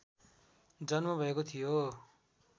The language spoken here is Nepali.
जन्म भएको थियो